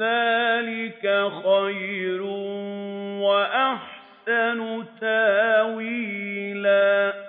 ذَٰلِكَ خَيْرٌ وَأَحْسَنُ تَأْوِيلًا